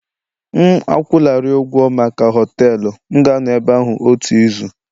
M akwụlarị ụgwọ maka họtelu, m ga-anọ ebe ahụ otu izu